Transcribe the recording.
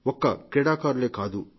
ఒక్క క్రీడాకారులే కాదు